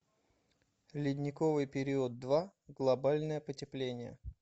ледниковый период два глобальное потепление